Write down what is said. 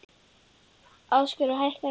Æsgerður, hækkaðu í græjunum.